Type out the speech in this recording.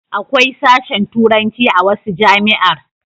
Akwai sashen turanci a wasu jami'ar